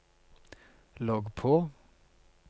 logg på